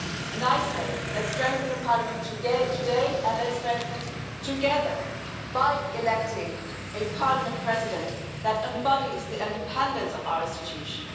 And I say let's strengthen the Parliament today and let's strengthen it together by electing a Parliament President that embodies the independence of our institution.